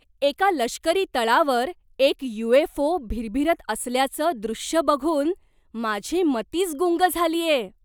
एका लष्करी तळावर एक यू. एफ. ओ. भिरभिरत असल्याचं दृश्य बघून माझी मतीच गुंग झालीय.